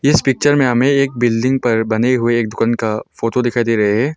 इस पिक्चर में हमें एक बिल्डिंग पर बने हुए गुन का फोटो दिखाई दे रहे है।